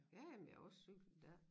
Ja ja men jeg har jo også cyklet dér